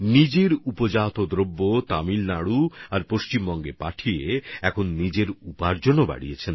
নিজের উৎপাদনকে তিনি তামিলনাডু এবং পশ্চিমবঙ্গে পাঠিয়ে নিজের আয়ও বাড়াচ্ছেন